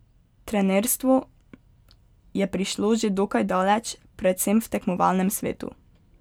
Trenerstvo je prišlo že dokaj daleč, predvsem v tekmovalnem svetu.